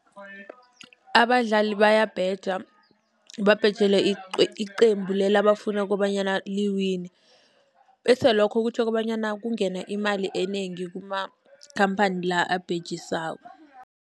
Abadlali bayabheja babhejele icembu leli abafuna kobanyana liwine., bese lokho kutjho kobanyana kungena imali enengi kumakhamphani la abhejisako.